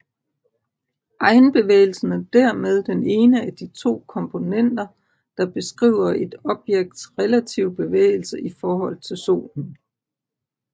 Egenbevægelsen er dermed den ene af de to komponenter der beskriver et objekts relative bevægelse i forhold til Solen